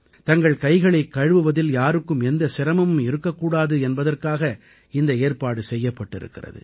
தங்கள் கைகளைக் கழுவுவதில் யாருக்கும் எந்த சிரமமும் இருக்கக் கூடாது என்பதற்காக இந்த ஏற்பாடு செய்யப்பட்டிருக்கிறது